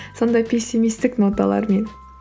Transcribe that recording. сондай пессимистік ноталармен